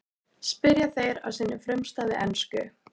spyrja þeir á sinni frumstæðu ensku.